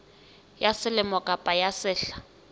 ya selemo kapa ya sehla